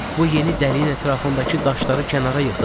Bu yeni dəlinin ətrafındakı daşları kənara yığdım.